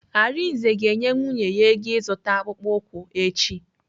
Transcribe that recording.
Arinze ga-enye nwunye ya ego ịzụta akpụkpọ ụkwụ echi.